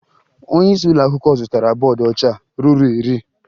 Onyeisi ụlọakwụkwọ zụtara bọọdụ ọcha ruru iri